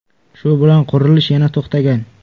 Shu bilan qurilish yana to‘xtagan.